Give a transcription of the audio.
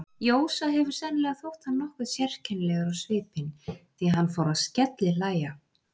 Jósa hefur sennilega þótt hann nokkuð sérkennilegur á svipinn, því hann fór að skellihlæja.